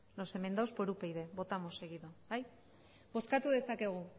los enmendados por upyd votamos seguido bozkatu dezakegu